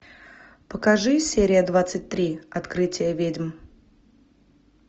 покажи серия двадцать три открытие ведьм